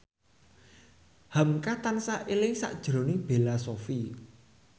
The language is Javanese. hamka tansah eling sakjroning Bella Shofie